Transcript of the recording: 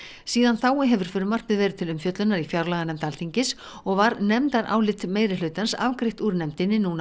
síðan þá hefur frumvarpið verið til umfjöllunar í fjárlaganefnd Alþingis og var nefndarálit meirihlutans afgreitt úr nefndinni núna